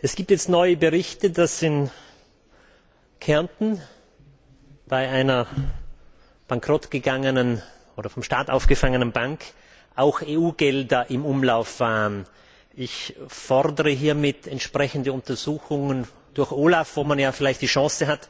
Es gibt jetzt neue Berichte, dass in Kärnten bei einer Bankrott gegangenen oder vom Staat aufgefangenen Bank auch EU Gelder im Umlauf waren. Ich fordere hiermit entsprechende Untersuchungen durch OLAF, wo man ja vielleicht die Chance hat,